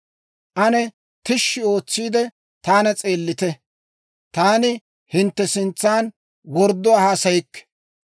Ane tishshi ootsiide, taana s'eellite. Taani hintte sintsan wordduwaa haasayikke.